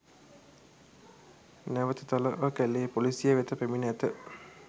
නැවත තලවකැලේ පොලිසිය වෙත පැමිණ ඇත